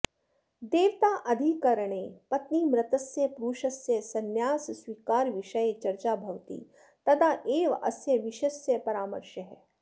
देवताधिकरणे पत्नीमृतस्य पुरुषस्य संन्यासस्वीकारविषये चर्चा भवति तदा एव अस्य विषयस्य परामर्शः